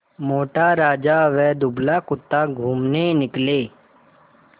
मोटा राजा व दुबला कुत्ता घूमने निकले